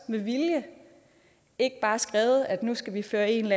med vilje ikke bare skrevet at nu skal vi føre en